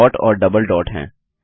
यहाँ डॉट और double dot हैं